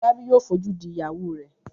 Fọlábí yóò fojú di ìyàwó rẹ̀.